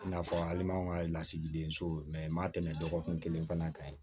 I n'a fɔ hali m'anw ka lasigiden so ma tɛmɛ dɔgɔkun kelen fana kan